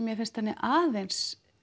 mér finnst henni aðeins